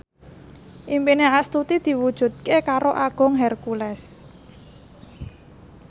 impine Astuti diwujudke karo Agung Hercules